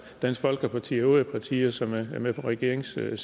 dansk folkeparti og øvrige partier som er med på regeringssiden